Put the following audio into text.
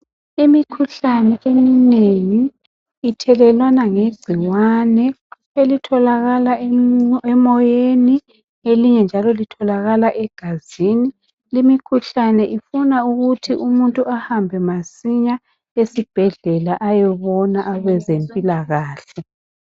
imikhuhlane eminngui ithelelwana ngegcikwane elitholakala emoyeni elinye njalo litholakala egazini limikhuhlane ifuna ukuthi umuntu ahambe masinya esibhedlela oyobona abezempilakahle